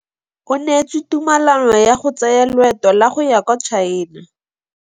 O neetswe tumalanô ya go tsaya loetô la go ya kwa China.